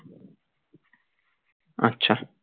আচ্ছা